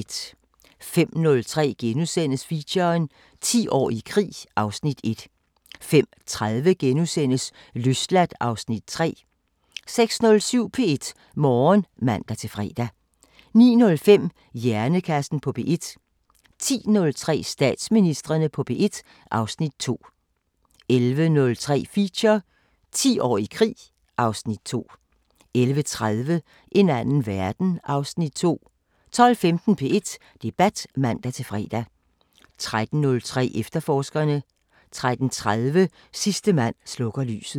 05:03: Feature: 10 år i krig (Afs. 1)* 05:30: Løsladt (Afs. 3)* 06:07: P1 Morgen (man-fre) 09:05: Hjernekassen på P1 10:03: Statsministrene på P1 (Afs. 2) 11:03: Feature: 10 år i krig (Afs. 2) 11:30: En anden verden (Afs. 2) 12:15: P1 Debat (man-fre) 13:03: Efterforskerne 13:30: Sidste mand slukker lyset